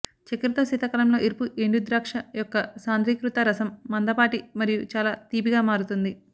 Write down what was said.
చక్కెరతో శీతాకాలంలో ఎరుపు ఎండుద్రాక్ష యొక్క సాంద్రీకృత రసం మందపాటి మరియు చాలా తీపిగా మారుతుంది